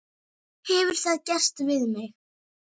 Hefur það gerst við mig?